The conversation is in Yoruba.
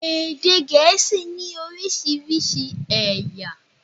Èdè Gèésì ní oriísirísi ẹ̀yà